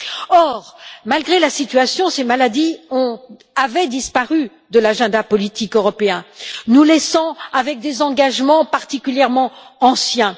Or, malgré la situation, ces maladies avaient disparu des priorités politiques européennes, nous laissant avec des engagements particulièrement anciens.